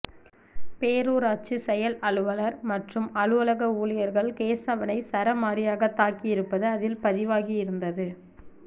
பேரூராட்சி செயல் அலுவலர் மற்றும் அலுவலக ஊழியர்கள் கேசவனை சரமாரியாகத் தாக்கியிருப்பது அதில் பதிவாகியிருந்தது